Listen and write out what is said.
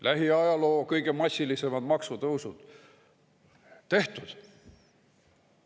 Lähiajaloo kõige massilisemad maksutõusud – tehtud.